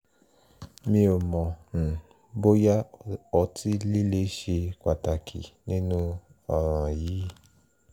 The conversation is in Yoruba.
mi ò mọ̀ um bóyá ọtí líle ṣe pàtàkì nínú ọ̀ràn yìí